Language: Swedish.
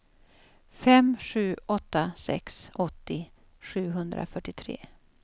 fem sju åtta sex åttio sjuhundrafyrtiotre